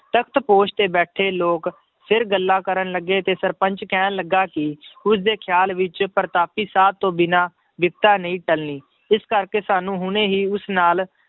ਤਖ਼ਤ ਪੋਸ਼ ਤੇ ਬੈਠੇ ਲੋਕ ਫਿਰ ਗੱਲਾਂ ਕਰਨ ਲੱਗੇ ਤੇ ਸਰਪੰਚ ਕਹਿਣ ਲੱਗਾ ਕਿ ਉਸਦੇ ਖਿਆਲ ਵਿੱਚ ਪ੍ਰਤਾਪੀ ਸਾਧ ਤੋਂ ਬਿਨਾਂ ਬਿਪਤਾ ਨਹੀਂ ਟਲਣੀ, ਇਸ ਕਰਕੇ ਸਾਨੂੰ ਹੁਣੇ ਹੀ ਉਸ ਨਾਲ